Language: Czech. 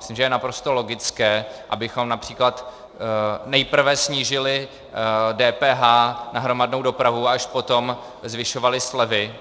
Myslím, že je naprosto logické, abychom například nejprve snížili DPH na hromadnou dopravu a až potom zvyšovali slevy,